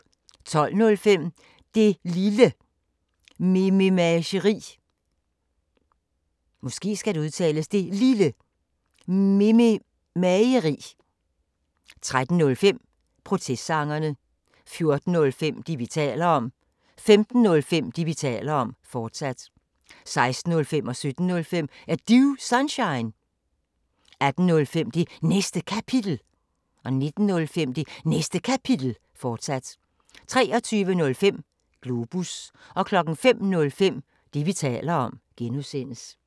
12:05: Det Lille Mememageri 13:05: Protestsangerne 14:05: Det, vi taler om 15:05: Det, vi taler om, fortsat 16:05: Er Du Sunshine? 17:05: Er Du Sunshine? 18:05: Det Næste Kapitel 19:05: Det Næste Kapitel, fortsat 23:05: Globus 05:05: Det, vi taler om (G)